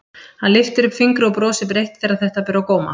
Hann lyftir upp fingri og brosir breitt þegar þetta ber á góma.